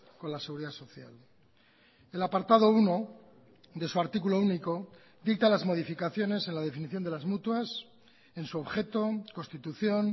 con la seguridad social el apartado uno de su artículo único dicta las modificaciones en la definición de las mutuas en su objeto constitución